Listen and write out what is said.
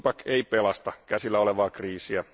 ei pelasta käsillä olevaa kriisiä.